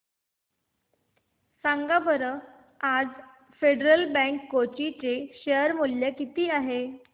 सांगा बरं आज फेडरल बँक कोची चे शेअर चे मूल्य किती आहे